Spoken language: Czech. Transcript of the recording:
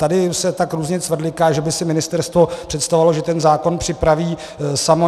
Tady se tak různě cvrliká, že by si ministerstvo představovalo, že ten zákon připraví samo.